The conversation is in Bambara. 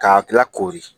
Ka kila koori